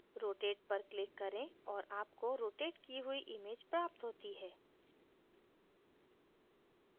rotate पर click करें और आपको rotate की हुई image प्राप्त होती है